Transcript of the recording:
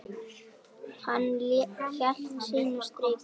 Hann hélt sínu striki.